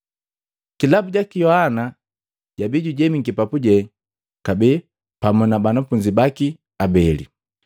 Kilabu jaki Yohana jabii jujemiki papuje kabee pamu na banafunzi baki abeli,